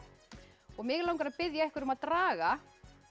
mig langar að biðja ykkur að draga